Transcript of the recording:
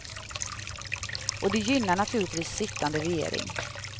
Och det gynnar naturligtvis sittande regering.